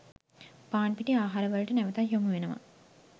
පාන් පිටි ආහාර වලට නැවතත් යොමු වෙනවා